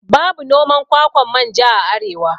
Babu noman kwakwan manja a arewa